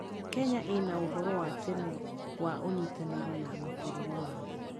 Kenya ĩna ũhoro wa tene wa ũnyitanĩri na mabũrũri mangĩ.